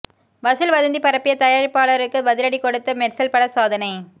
வசூல் வதந்தி பரப்பிய தயாரிப்பாளருக்கு பதிலடி கொடுத்த மெர்சல் பட சாதனை